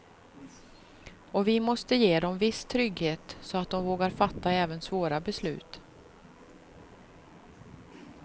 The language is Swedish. Och vi måste ge dem viss trygghet så att de vågar fatta även svåra beslut.